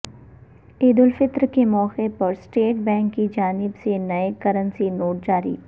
عید الفطر کے موقع پر اسٹیٹ بینک کی جانب سے نئے کرنسی نوٹ جاری